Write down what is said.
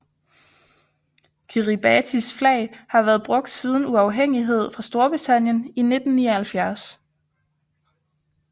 Kiribatis flag har været brugt siden uafhængighed fra Storbritannien i 1979